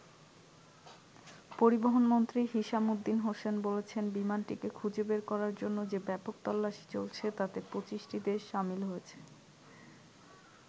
পরিবহন মন্ত্রী Hishammuddin Hussein বলছেন বিমানটিকে খুঁজে বের করার জন্য যে ব্যাপক তল্লাশি চলছে তাতে ২৫টি দেশ সামিল হয়েছে।